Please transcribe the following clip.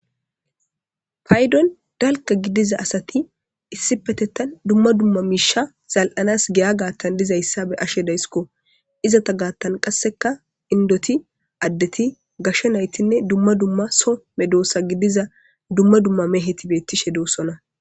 paydon dalka gidiza asati issi petettan dumma dumma miisha zal7anas giya gaattan dizayssa be ashe daysiko izata gaattan qasseka indoti addeti gasho naytinne dumma dumma so me doossa gidiza dumma dumma me heti bettishe doosona